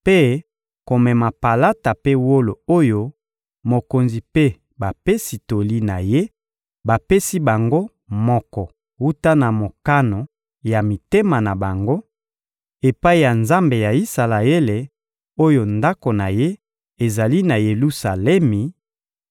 mpe komema palata mpe wolo oyo mokonzi mpe bapesi toli na ye bapesi bango moko wuta na mokano ya mitema na bango, epai ya Nzambe ya Isalaele, oyo Ndako na Ye ezali na Yelusalemi;